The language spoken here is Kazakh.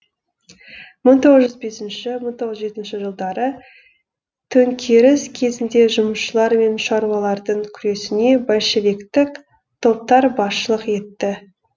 мың тоғыз жүз бесінші мың тоғыз жүз жетінші жылдары төңкеріс кезінде жұмысшылар мен шаруалардың күресіне большевиктік топтар басшылық етті